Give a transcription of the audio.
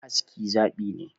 Aski zaɓi ne